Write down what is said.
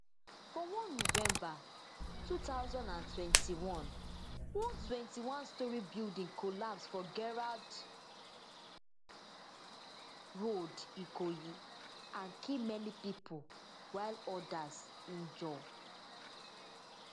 for one november two thousand and twenty-one one twenty-onestorey building collapse for gerrard road ikoyi and kill many pipo while odas injure